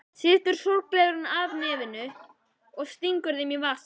Slítur sólgleraugun af nefinu og stingur þeim í vasann.